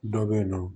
Dɔ bɛ yen nɔ